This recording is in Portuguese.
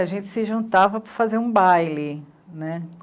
A gente se juntava para fazer um baile, né.